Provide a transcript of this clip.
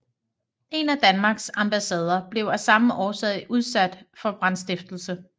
En af Danmarks ambassader blev af samme årsag udsat for brandstiftelse